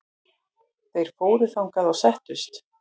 Þeir fóru þangað og settust.